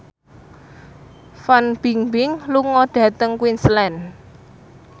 Fan Bingbing lunga dhateng Queensland